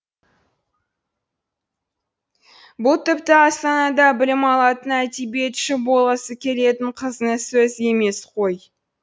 бұл тіпті астанада білім алатын әдебиетші болғысы келетін қыздың сөзі емес қой